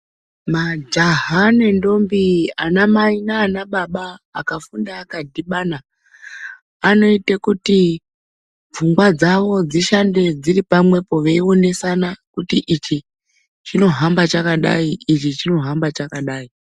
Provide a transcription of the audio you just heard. Majaha nendombi, anamai nanababa, akafunda akadhibana anoite kuti pfungwa dzavo dzishande dziri pamwepo veionesana kuti ichi chinohamba chakadai, ichi chinohamba chakadai.